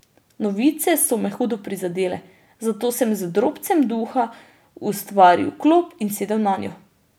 Novice so me hudo prizadele, zato sem z drobcem duha ustvaril klop in sedel nanjo.